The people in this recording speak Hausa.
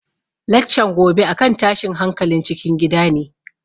Laccan gobe a kan tashin hankalin cikin gida ne